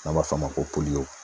N'an b'a f'o ma ko